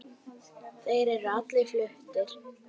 Þeir eru allir fluttir